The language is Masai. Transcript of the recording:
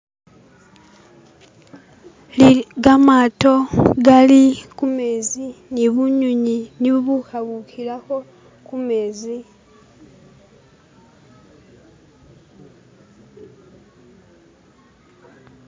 Gamato gali ku mezi ne bunywinywi ni bubukhabukhilakho khu mezi